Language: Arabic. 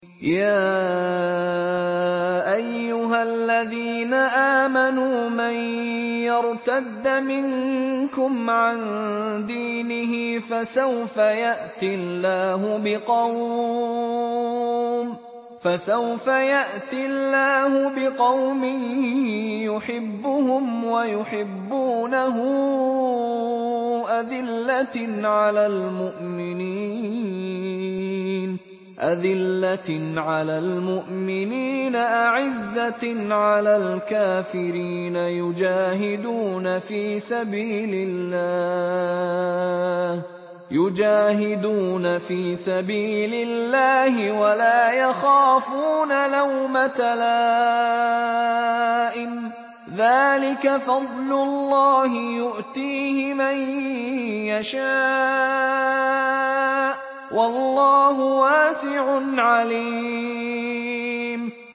يَا أَيُّهَا الَّذِينَ آمَنُوا مَن يَرْتَدَّ مِنكُمْ عَن دِينِهِ فَسَوْفَ يَأْتِي اللَّهُ بِقَوْمٍ يُحِبُّهُمْ وَيُحِبُّونَهُ أَذِلَّةٍ عَلَى الْمُؤْمِنِينَ أَعِزَّةٍ عَلَى الْكَافِرِينَ يُجَاهِدُونَ فِي سَبِيلِ اللَّهِ وَلَا يَخَافُونَ لَوْمَةَ لَائِمٍ ۚ ذَٰلِكَ فَضْلُ اللَّهِ يُؤْتِيهِ مَن يَشَاءُ ۚ وَاللَّهُ وَاسِعٌ عَلِيمٌ